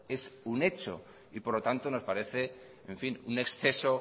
es un hecho y por lo tanto nos parece un exceso